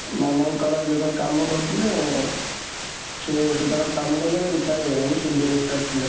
ମାମାଙ୍କର ଯେତେବେଳେ କାମ କରୁଥିଲେ ସେ ସେତେବେଳେ କାମ କରୁଥିଲେ, ଏବେ retired ହୋଇଗଲେଣି, ସେ director ଥିଲେ